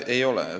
Ei ole!